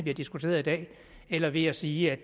har diskuteret i dag eller ved at sige